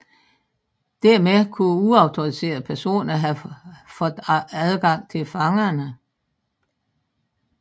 Dermed kunne uautoriserede personer have fået adgang til fangerne